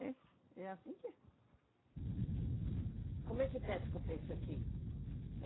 É, é anssim que é. Como é que pesca o peixe aqui?